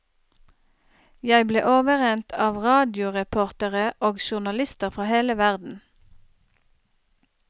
Jeg ble overrent av radioreportere og journalister fra hele verden.